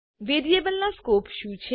variable ના scope શું છે